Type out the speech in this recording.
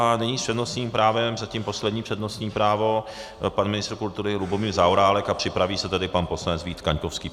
A nyní s přednostním právem, zatím poslední přednostní právo, pan ministr kultury Lubomír Zaorálek, a připraví se tedy pan poslanec Vít Kaňkovský.